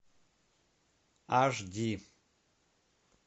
аш ди